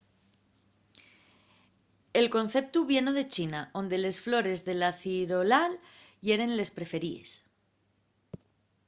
el conceptu vieno de china onde les flores de la cirolal yeren les preferíes